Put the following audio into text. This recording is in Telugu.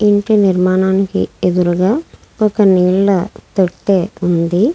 ఇంటి నిర్మాణానికి ఎదురుగా ఒక నీళ్ల తొట్టె ఉంది.